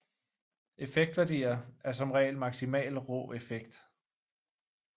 Effektværdier er som regel maksimal rå effekt